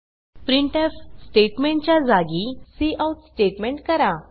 printf statement च्या जागी cout statement करा